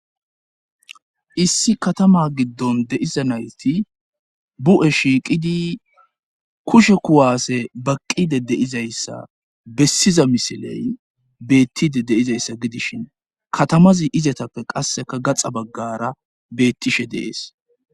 Issi katama giddon deiza nayti bu'e shiiqidi kushe kuwaase baqqide deizayssa bessiza misiley beettide deizayssa gidishin katamazi izatappe qasseka gaxa baggara beettishe deees.